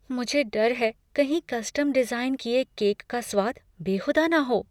मुझे डर हैं कहीं कस्टम डिज़ाइन किए केक का स्वाद बेहूदा न हो।